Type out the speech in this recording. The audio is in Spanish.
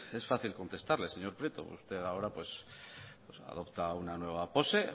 es fácil contestarle señor prieto usted ahora pues adopta una nueva pose